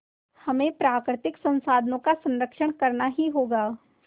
हमें प्राकृतिक संसाधनों का संरक्षण करना ही होगा